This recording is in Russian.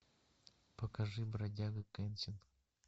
покажи бродяга кэнсин